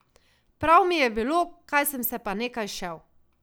Prav mi je bilo, kaj sem se pa nekaj šel.